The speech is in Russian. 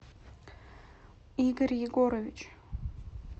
игорь егорович